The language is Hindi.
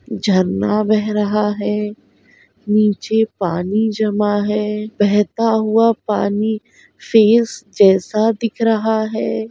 झरना बह रहा है नीचे पानी जमा है बहता हुआ पानी फेस जैसा दिख रहा है।